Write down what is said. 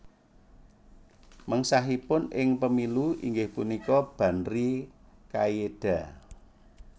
Mengsahipun ing Pemilu inggih punika Banri Kaieda